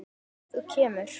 Þú kemur.